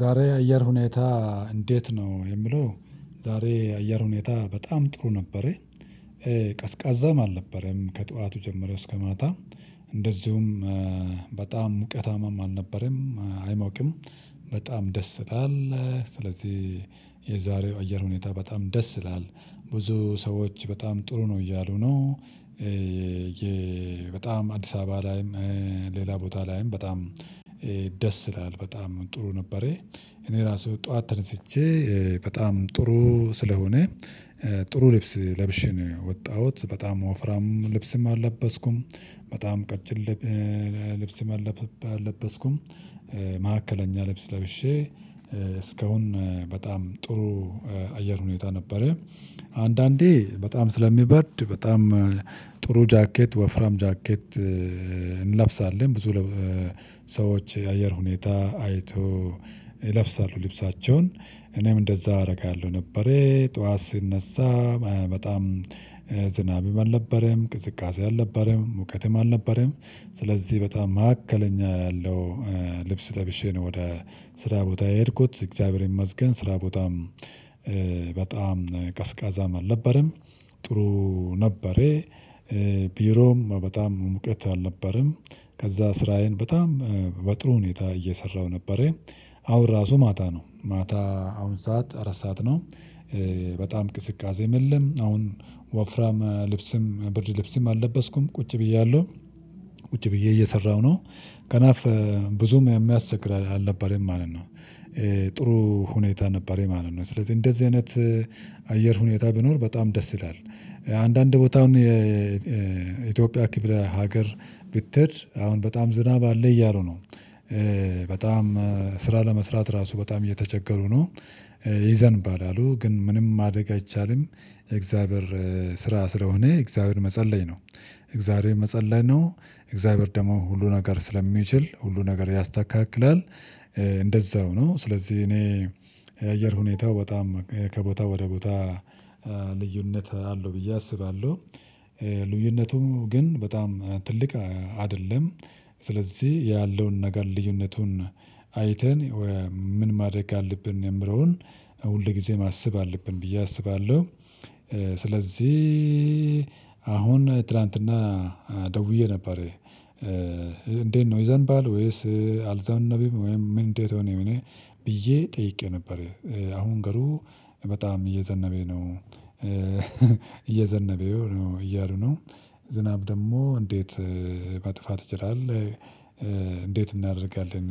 ዛሬ የአየር ሁኔታ እንዴት ነው? የሚለው ዛሬ የአየር ሁኔታ በጣም ጥሩ ነበረ። ቀዝቃዛም አልነበረም ከጧቱ ጀምሮ እስከ ማታ እንደዚሁም ሙቀታማም አልነበረም አይሞቅም። በጣም ደስ ይላል ስለዚህ የዛሬው አየር ሁኔታ በጣም ደስ ይላል። ብዙ ሰዎች በጣም ጥሩ ነው እያሉ ነው። የ በጣም አዲስ አበባ ላይም ሌላ ቦታ ላይም በጣም ደስ ይላል በጣም ጥሩ ነበረ። እኔ ራሱ ጠዋት ተነስቼ በጣም ጥሩ ስለሆነ ጥሩ ልብስ ለብሼ ነው የወጣሁት በጣም ወፍራም ልብስም አልለበስኩም። በጣም ቀጭን ልብስም አለበስኩም። ማዕከለኛ ልብስ ለብሼ እስካሁን በጣም ጥሩ አየር ሁኔታ ነበረ። አንዳንዴ በጣም ስለሚበርድ በጣም ጥሩ ጃኬት ወፍራም ጃኬት እንለብሳለን ብዙ ሰዎች የአየር ሁኔታ አይተው ይለብሳሉ ልብሳቸውን እኔም እንደዛ አደርጋለሁ ነበር። ጠዋት ስነሳ በጣም ዝናብም አልነበረም ቅዝቃዜም አልነበረም ሙቀትም አልነበረም። ስለዚህ በጣም መካከለኛ ያለው ልብስ ለብሼ ነው ወደ ስራ ቦታ የሄድኩት እግዚአብሔር ይመስገን ስራ ቦታም በጣም ቀዝቃዛም አልነበረም ጥሩ ነበረ። ቢሮም በጣም ሙቀት አልነበረም ከዛ ስራዬን በጣም በጥሩ ሁኔታ እየሰራሁ ነበረ። አሁን ራሱ ማታ ነው ማታ አሁን ሰዓት አራት ሰዓት ነው። በጣም ቅዝቃዜም የለም አሁን ወፍራም ልብስም ብርድ ልብስም አልለበስኩም ቁጭ ብያለሁ ቁጭ ብዬ እየሰራሁ ነው ከናፍ ብዙም የሚያስቸግር አልነበረም ማለት ነው። ጥሩ ሁኔታ ነበረ ማለት ነው። ስለዚህ እንደዚህ አይነት አየር ሁኔታ ቢኖር በጣም ደስ ይላል። አንዳንድ ቦታ አሁን የኢትዮጵያ ክፍለ ሀገር ብትሄድ አሁን በጣም ዝናብ አለ እያሉ ነው። በጣም ስራ ለመስራት ራሱ በጣም እየተቸገሩ ነው። ይዘንባል አሉ ግን ምንም ማደግ አይቻልም የእግዚአብሔር ስራ ስለሆነ ለእግዚአብሔር መጸለይ ነው። ለእግዚአብሔር መጸለይ ነው እግዚአብሔር ደግሞ ሁሉን ነገር ስለሚችል ሁሉን ነገር ያስተካክላል። እንደዛው ነው። ስለዚህ እኔ የአየር ሁኔታው በጣም ከቦታ ወደ ቦታ ልዩነት አለው ብዬ አስባለሁ። ልዩነቱም ግን በጣም ትልቅ አይደለም። ስለዚህ ያለውን ነገር ልዩነቱን አይተን ምን ማድረግ አለብን የሚለውን ሁልጊዜ ማሰብ አለብን ብዬ አስባለሁ። ስለዚህ አሁን ትላንትና ደውዬ ነበር እንዴት ነው ይዘንባል ወይስ አልዘነበም ወይም እንዴት ሆነ ብየ ጠይቄ ነበረ። አሁን ገሩ በጣም እየዘነበነ ነው። እየዘነበ ነው እያሉ ነው። ዝናብ ደግሞ እንዴት መጥፋት ይችላል? እንዴት እናደርጋለን?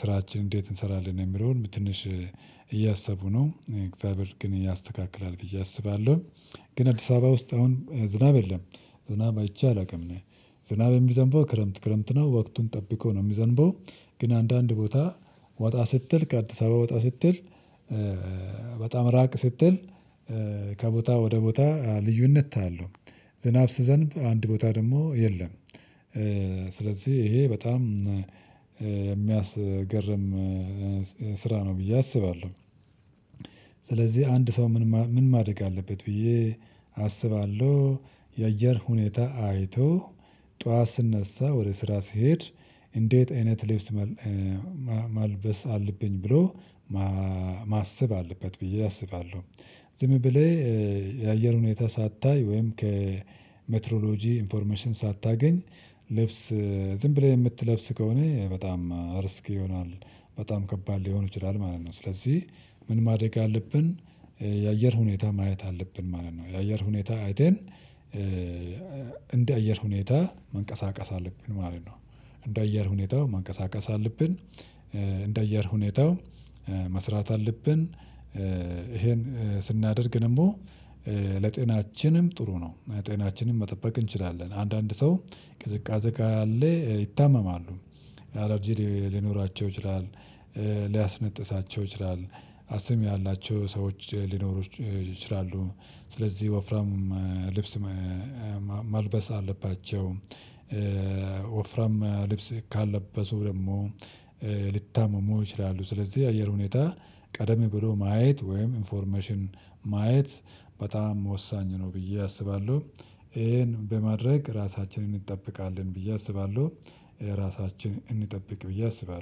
ስራችን እንዴት እንሰራለን የሚለውን ትንሽ እያሰቡ ነው እግዚአብሔር ግን እያስተካክላል ብዬ አስባለሁ። ግን አዲስ አበባ ውስጥ አሁን ዝናብ የለም። ዝናብ አይቼ አላውቅም እኔ ዝናብ የሚዘንበው ክረምት ክረምት ነው ወቅቱን ጠብቆ ነው የሚዘንበው። ግን አንዳንድ ቦታ ወጣ ስትል ከ አዲስ አበባ ወጣ ስትል በጣም ራቅ ስትል ከቦታ ወደ ቦታ ልዩነት አያለሁ። ዝናብ ሲዘንብ አንድ ቦታ ደግሞ የለም። ስለዚህ ይሄ በጣም የሚያስገርም ስራ ነው ብዬ አስባለሁ። ስለዚህ አንድ ሰው ምን ምን ማድረግ አለበት ብዬ አስባለሁ። የአየር ሁኔታ አይቶ ጠዋት ሲነሳ ወደ ስራ ሲሄድ እንዴት አይነት ልብስ መልበስ አለብኝ ብሎ ማሰብ አለበት ብዬ አስባለሁ። ዝም ብለህ የአየር ሁኔታ ሳታይ ወይም ከሜትሮሎጂ ኢንፎርሜሽን ሳታገኝ ልብስ ዝም ብለህ የምትለብስ ከሆነ በጣም ሪስክ ይሆናል። በጣም ከባድ ሊሆን ይችላል ማለት ነው። ስለዚህ ምን ማደረግ አለብን? የአየር ሁኔታ ማየት አለብን ማለት ነው። የአየር ሁኔታ አይተን እንደ አየር ሁኔታ መንቀሳቀስ አለብን ማለት ነው። እንደ አየር ሁኔታው ማንቀሳቀስ አለብን። እንደ አየር ሁኔታው መስራት አለብን። ይሄን ስናደርግ ደግሞ ለጤናችንም ጥሩ ነው። ጤናችንን መጠበቅ እንችላለን አንዳንድ ሰው ቅዝቃዜ ካለ ይታመማሉ። አላርጂ ሊኖራቸው ይችላል። ሊያስነጥሳቸው ይችላል። አስም ያላቸው ሰዎች ሊኖሩ ይችላሉ። ስለዚህ ወፍራም ልብስ መልበስ አለባቸው። ወፍራም ልብስ ካለበሱ ደግሞ ሊታመሙ ይችላሉ። ስለዚህ አየር ሁኔታ ቀደም ብሎ ማየት ወይም ኢንፎርሜሽን ማየት በጣም ወሳኝ ነው። ብዬ አስባለሁ ይሄን በማድረግ ራሳችንን እንጠብቃለን ብዬ አስባለሁ። ራሳችን እንጠብቅ ብዬ አስባለሁ